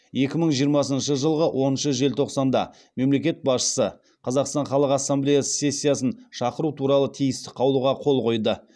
екі мың жиырмасыншы жылғы оныншы желтоқсанда мемлекет басшысы қазақстан халық ассамблесы сессиясын шақыру туралы тиісті қаулыға қол қойды